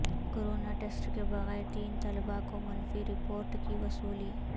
corona test کے بغیر تین طلبہ کو منفی رپورٹ کی وصولی